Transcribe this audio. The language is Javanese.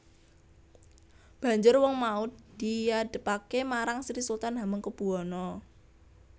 Banjur wong mau diadhepaké marang Sri Sultan Hamengkubuwana